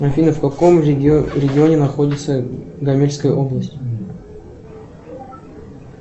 афина в каком регионе находится гомельская область